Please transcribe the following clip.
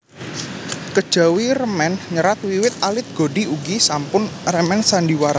Kejawi remen nyerat wiwit alit Godi ugi sampun remen sandhiwara